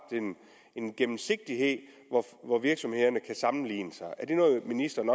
en gennemsigtighed hvor virksomhederne kan sammenligne sig med er det noget ministeren